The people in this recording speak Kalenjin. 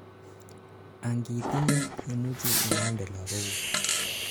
angitinyei, imuchi inamdei lagokuk